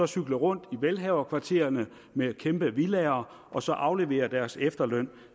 cykle rundt i velhaverkvartererne med kæmpe villaer og så aflevere deres efterløn